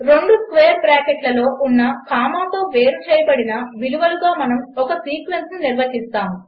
రెండు స్క్వేర్ బ్రాకెట్లలో ఉన్న కామాతో వేరుచేయబడిన విలువలుగా మనము ఒక సీక్వెన్స్ను నిర్వచిస్తాము